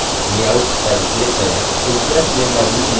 impress में मौजूद layouts प्रदर्शित होते हैं